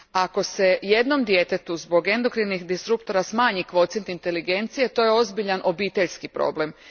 Ako se jednom djetetu zbog endokrinih disruptora smanji kvocijent inteligencije, to je ozbiljan obiteljski problem.